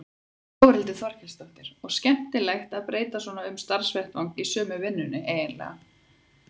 Þórhildur Þorkelsdóttir: Og skemmtilegt að breyta svona um starfsvettvang í sömu vinnunni eiginlega?